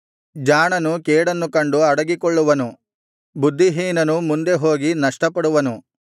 ಜಾಣನು ಕೇಡನ್ನು ಕಂಡು ಅಡಗಿಕೊಳ್ಳುವನು ಬುದ್ಧಿಹೀನನು ಮುಂದೆ ಹೋಗಿ ನಷ್ಟಪಡುವನು